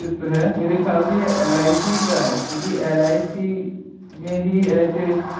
चित्र है। मेरे ख्याल से यह एल.आई.सी. का है क्योंकि कि एल.आई.सी. में ही में ही ऐसे --